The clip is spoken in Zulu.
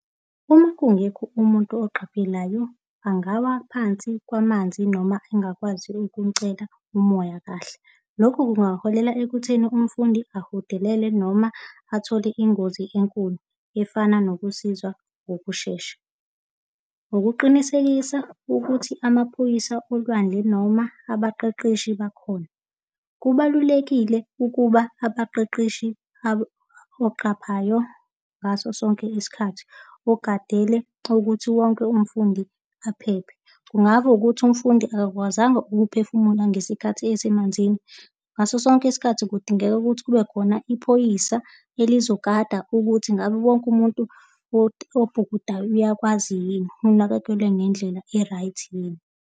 Uma kungekho umuntu oqaphelayo angawa phansi kwamanzi noma engakwazi ukumcela umoya kahle. Lokhu kungaholela ekutheni umfundi ahudelele noma athole ingozi enkulu efana nokusizwa ngokushesha. Ukuqinisekisa ukuthi amaphoyisa olwandle noma abaqeqeshi bakhona. Kubalulekile ukuba abaqeqeshi oqaphayo ngaso sonke isikhathi, ogadele ukuthi wonke umfundi aphephe, kungaba ukuthi umfundi akakwazanga ukuphefumula ngesikhathi esemanzini. Ngaso sonke isikhathi kudingeka ukuthi kube khona iphoyisa elizogada ukuthi ngabe wonke umuntu obhukudayo uyakwazi yini, unakekelwe ngendlela e-right yini?